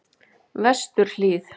Vesturhlíð